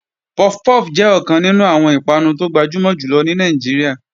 Puff puff jẹ́ ọ̀kan nínú àwọn ìpanu tó gbajúmọ̀ jù lọ ní Nàìjíríà.